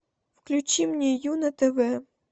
включи мне ю на тв